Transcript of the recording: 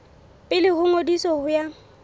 pele ho ngodiso ho ya